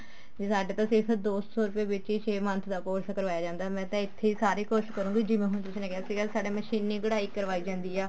ਵੀ ਸਾਡੇ ਤਾਂ ਸਿਰਫ ਦੋ ਸੋ ਰੁਪੇ ਵਿੱਚ ਹੀ ਛੇ month ਦਾ course ਕਰਵਾਇਆ ਜਾਂਦਾ ਮੈਂ ਤਾਂ ਇੱਥੇ ਹੀ ਸਾਰੇ course ਕਰੁਂਗੀ ਜਿਵੇਂ ਹੁਣ ਤੁਸੀਂ ਨੇ ਕਿਹਾ ਸੀਗਾ ਸਾਡੇ ਮਸ਼ੀਨੀ ਕਢਾਈ ਕਰਵਾਈ ਜਾਂਦੀ ਆ